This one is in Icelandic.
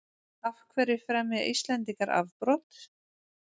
af hverju fremja íslendingar afbrot